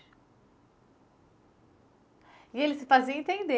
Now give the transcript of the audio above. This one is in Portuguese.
E ele se fazia entender.